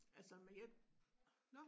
Altså men jeg nåh